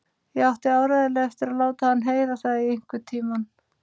Ég átti áreiðanlega eftir að láta hann heyra það einhvern tíma.